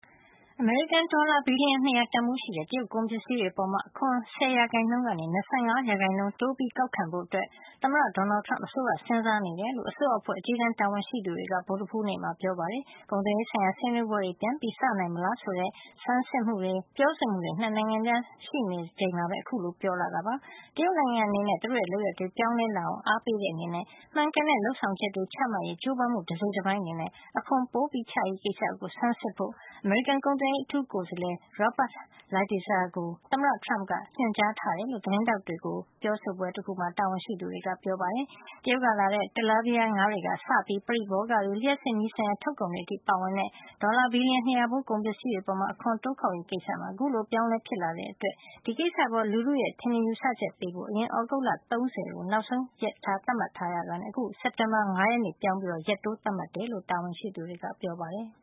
အမေရိကန်ဒေါ်လာ ဘီလီယံ ၂၀၀ တန်ဖိုးရှိတဲ့ တရုတ်ကုန်ပစ္စည်းတွေအပေါ် အခွန် ၁၀% ကနေ ၂၅% တိုးပြီး ကောက်ခံဖို့ သမ္မတ ဒေါ်နယ်လ်ဒ် ထရမ့်ပ် အစိုးရက စဉ်းစားနေတယ်လို့ အစိုးအဖွဲ့ အကြီးတန်းတာဝန်ရှိသူတွေက ဗုဒ္ဓဟူးနေ့မှာ ပြောပါတယ်။ နှစ်နိုင်ငံအကြား ကုန်သွယ်ရေးဆိုင်ရာ ဆွေးနွေးပွဲတွေ ပြန်စနိုင်မလားဆိုတဲ့ သုံးသပ်မှုတွေ၊ ပြောဆိုမှုတွေ ဆက်ရှိနေ ချိန်မှာပဲ အခုလိုပြောလာတာပါ။ တရုတ်နိုင်ငံအနေနဲ့ သူတို့ရဲ့လုပ်ရပ်တွေ ပြောင်းလဲလာအောင် အားပေးတဲ့အနေနဲ့ မှန်ကန်တဲ့လုပ်ဆောင်ချက်တွေ ချမှတ်ရေး ကြိုးပမ်းမှု တစိတ်တပိုင်းအနေနဲ့ အခွန်ပိုချရေးကိစ္စ ဆန်းစစ်ဖို့ အမေရိကန် ကုန်သွယ်ရေးအထူးကိုယ်စားလှယ် Robert Lighthizer ကို သမ္မတထရမ့်ပ်က ညွှန်ကြားထားတယ်လို့ သတင်းထောက်တွေကို ရှင်းလင်းပြောဆိုပွဲတခုမှာ တာဝန်ရှိသူတွေက ပြောတာပါ။ တရုတ်ကလာတဲ့ တလားပီးယားငါးတွေ ကစပြီး ပရိဘောဂတွေ၊ လျှပ်စစ်မီးဆိုင်ရာ ထုတ်ကုန်တွေ အထိ ပါဝင်တဲ့ ဒေါ်လာ ဘီလီယံ ၂၀၀ ဖိုး ကုန်ပစ္စည်းတွေအပေါ် အခွန်တိုးကောက်ရေးကိစ္စမှာ အခုလို အပြောင်းအလဲဖြစ်လာတဲ့အတွက် ဒီကိစ္စအပေါ် လူထုရဲ့ ထင်မြင်ယူဆချက်ပေးဖို့ အရင်က သြဂုတ်လ ၃၀ ရက်ကို နောက်ဆုံးရက်အဖြစ် သတ်မှတ်ထားတာကနေ အခု စက်တင်ဘာလ ၅ ရက်နေ့ကို ပြောင်းလဲပြီးတော့ ရက်တိုးသတ်မှတ်ထားတယ်လို့ တာဝန်ရှိသူတွေကပြောပါတယ်။